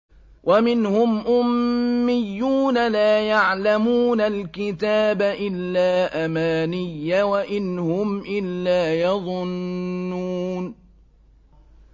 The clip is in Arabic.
وَمِنْهُمْ أُمِّيُّونَ لَا يَعْلَمُونَ الْكِتَابَ إِلَّا أَمَانِيَّ وَإِنْ هُمْ إِلَّا يَظُنُّونَ